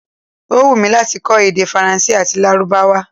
Ó wùnmí láti kọ́ èdè Faransé àti Lárúbáwá